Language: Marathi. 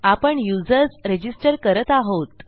आपण युजर्स रजिस्टर करत आहोत